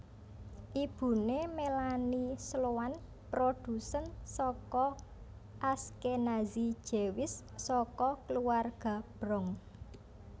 Ibune Melanie Sloan produsen saka Ashkenazi Jewish saka keluarga Bronx